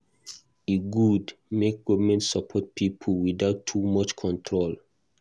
E good make government support pipo without too much control.